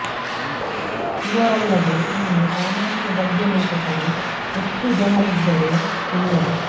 ಇವರಲ್ಲದೆ ಇನ್ನೂ ಸಾಮಾನ್ಯ ಗದ್ಯ ಲೇಖಕರು ಎಷ್ಟು ಜನರಿದ್ದರೋ ತಿಳಿಯದು